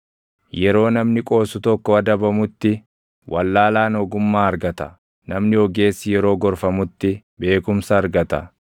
Yeroo namni qoosu tokko adabamutti, // wallaalaan ogummaa argata; namni ogeessi yeroo gorfamutti beekumsa argata.